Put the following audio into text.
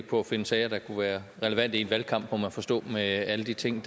på at finde sager der kunne være relevante i en valgkamp må man forstå med alle de ting